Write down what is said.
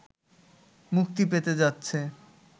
মুক্তি পেতে যাচ্ছে